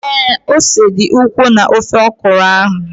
Ee, ose dị ukwuu na ofe ọkụrụ ahụ